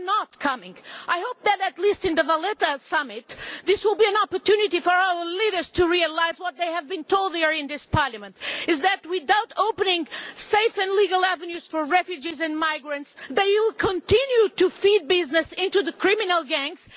They are not coming. I hope that at least the Valletta Summit will be an opportunity for our leaders to realise what they have been told here in this Parliament, namely that, without opening safe and legal avenues for refugees and migrants, they will continue to feed business into the criminal gangs.